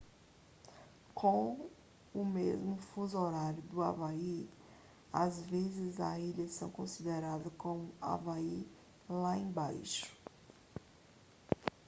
com o mesmo fuso horário do havaí às vezes as ilhas são consideradas como havaí lá embaixo